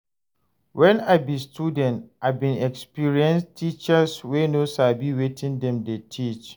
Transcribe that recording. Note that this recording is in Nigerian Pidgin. Wen I be student, I bin experience teachers wey no sabi wetin dem dey teach.